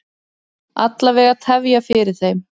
Alla vega tefja fyrir þeim.